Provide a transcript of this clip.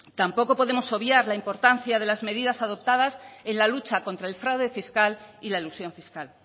tampoco podemos obviar la importancia de las medidas adoptadas en la lucha contra el fraude fiscal y la elusión fiscal